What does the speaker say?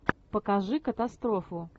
покажи катастрофу